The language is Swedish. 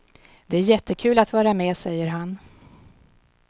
Det är jättekul att vara med, säger han.